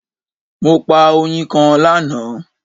Mo pa oyin kan lana